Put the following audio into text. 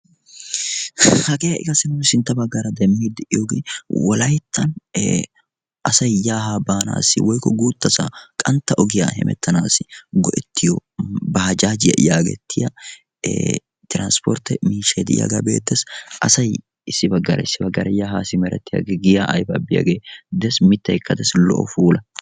hagee ha'i qassi nu sintta baggaara demmidi diyooge wolayttan asay yaa haa baanassi woykko guuttasa qantta ogiyaa hemettanassi baajajjiyaa yaagettiya transportte miishshay diyaaga be'eettees. asay issi baggaara issi baggaara ya simmeretiyaagee giya aybba biyaage des mittaykka des lo''o puula.